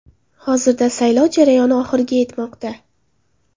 Hozirda saylov jarayoni oxiriga yetmoqda.